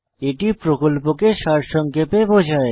এটি প্রকল্পকে সারসংক্ষেপে বোঝায়